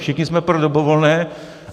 Všichni jsme pro dobrovolné.